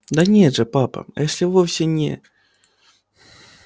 да нет же папа эшли вовсе не